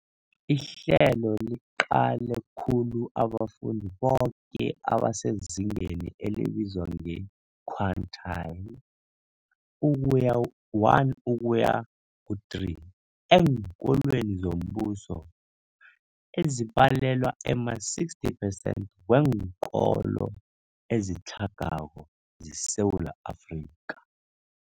Ihlelo liqale khulu abafundi boke abasezingeni elibizwa nge-quintile 1-3 eenkolweni zombuso, ezibalelwa ema-60 percent weenkolo ezitlhagako zeSewula Afrika.